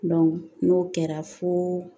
n'o kɛra fo